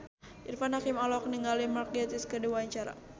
Irfan Hakim olohok ningali Mark Gatiss keur diwawancara